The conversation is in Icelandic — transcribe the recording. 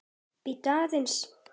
Bíddu aðeins!